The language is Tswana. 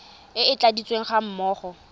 e e tladitsweng ga mmogo